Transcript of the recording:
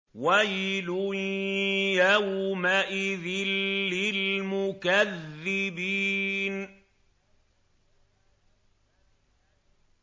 وَيْلٌ يَوْمَئِذٍ لِّلْمُكَذِّبِينَ